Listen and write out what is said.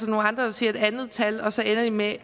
nogle andre der siger et andet tal og så ender de med at